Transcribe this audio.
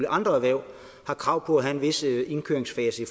andre erhverv har krav på at have en vis indkøringsfase i